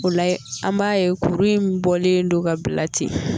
O la , an b'a ye kuru in bɔlen don ka bila ten